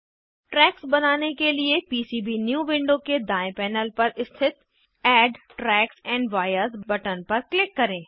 tracks बनाने के लिए पीसीबीन्यू विंडो के दायें पैनल पर स्थित add tracks and vias button पर क्लिक करें